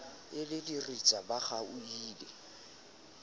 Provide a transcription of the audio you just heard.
e le diritsa ba kgaohile